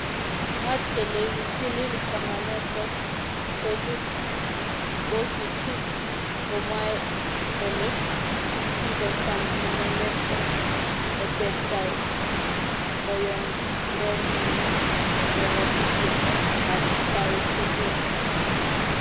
mwaat kele kitil kamanoto kochut bokitik komwoe kole kikotam inendet eng otebtab boyondenyin nebokiti eng atkai tugul